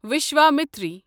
Vishwamitri